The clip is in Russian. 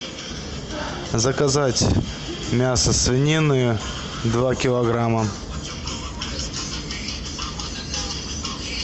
заказать мясо свинины два килограмма